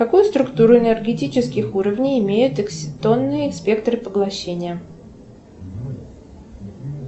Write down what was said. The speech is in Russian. какую структуру энергетических уровней имеют экситонные спектры поглощения